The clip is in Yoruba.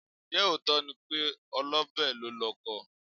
Ǹjẹ́ òótọ́ ni pé olọ́bẹ̀ lólọkọ?